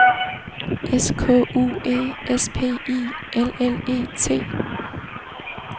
S K U E S P I L L E T